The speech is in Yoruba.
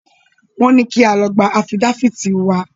Wọ́n ní kí a lọ gba afídáfìtì wá.